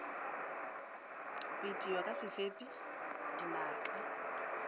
go itiwa ka sefepi dinaka